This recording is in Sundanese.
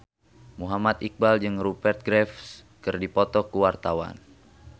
Muhammad Iqbal jeung Rupert Graves keur dipoto ku wartawan